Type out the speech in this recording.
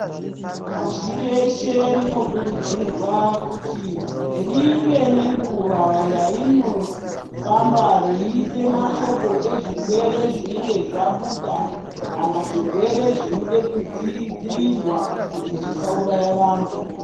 Pashi reshe rinokurudzirwa kuti ringe rine nguwa rainofamba yeisa mashoko ezvirwere zvinenge zvabuda kana zvirwere zvinoda kudzivirirwa kuti zvisauraya vantu.